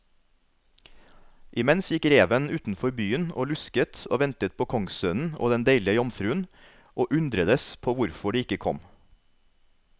Imens gikk reven utenfor byen og lusket og ventet på kongssønnen og den deilige jomfruen, og undredes på hvorfor de ikke kom.